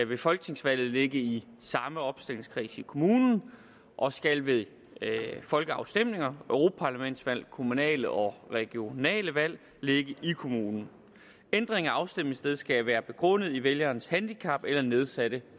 ved folketingsvalg ligge i samme opstillingskreds i kommunen og skal ved folkeafstemninger europaparlamentsvalg kommunale og regionale valg ligge i kommunen ændringen af afstemningsstedet skal være begrundet i vælgerens handicap eller nedsatte